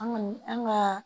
An kɔni an ka